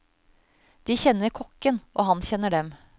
De kjenner kokken, og han kjenner dem.